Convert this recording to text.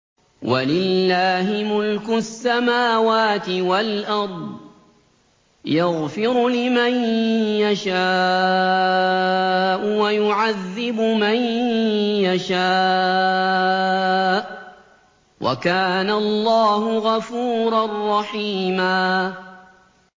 وَلِلَّهِ مُلْكُ السَّمَاوَاتِ وَالْأَرْضِ ۚ يَغْفِرُ لِمَن يَشَاءُ وَيُعَذِّبُ مَن يَشَاءُ ۚ وَكَانَ اللَّهُ غَفُورًا رَّحِيمًا